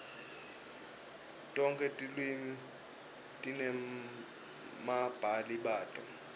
tonkhe tilwimi tinebabhali bato